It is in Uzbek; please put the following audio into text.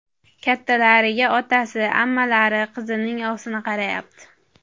Kattalariga otasi, ammalari, qizimning ovsini qarayapti.